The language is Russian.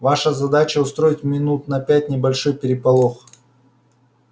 ваша задача устроить минут на пять небольшой переполох